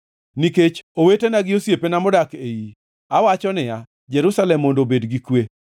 Nikech owetena gi osiepena modak e iyi, awacho niya, “Jerusalem mondo obed gi kwe.”